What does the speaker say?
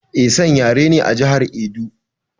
Esan yare ne a jihar Edo